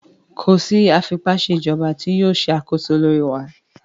Ko si afipaṣejọba ti yoo ṣe akoso lori wa!